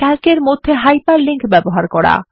Calc এর মধ্যে hyperlink ব্যবহার করা